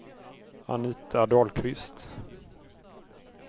Anita Dahlqvist